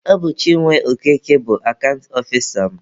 Ọ bụ Chinwe Okeke bụ akant ọfisa m.